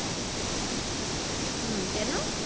হম কেন?